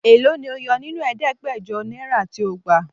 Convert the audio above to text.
Èló ni o yo nínú ẹ̀ẹ́dẹ́gbẹ̀jọ náírà tí o gbà?